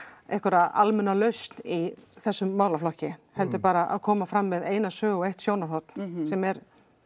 einhverja almenna lausn í þessum málaflokki heldur bara að koma fram með eina sögu og eitt sjónarhorn sem er